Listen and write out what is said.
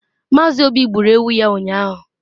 Mazị obi gburu ewu ya ụnyahụ